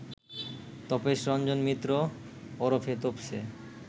তপেশরঞ্জন মিত্র ওরফে তোপসে